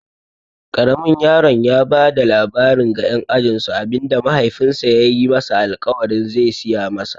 Ƙaramin yaron ya bada labarin ga ƴan ajinsu abinda mahaifinsa yayi masa alƙawarin ze siya masa.